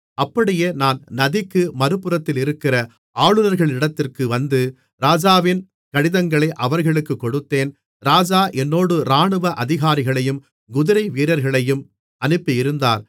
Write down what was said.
அப்படியே நான் நதிக்கு மறுபுறத்திலிருக்கிற ஆளுநர்களிடத்திற்கு வந்து ராஜாவின் கடிதங்களை அவர்களுக்குக் கொடுத்தேன் ராஜா என்னோடு இராணுவ அதிகாரிகளையும் குதிரைவீரர்களையும் அனுப்பியிருந்தார்